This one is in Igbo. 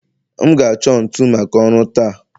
M ga-achọ ntu maka ọrụ taa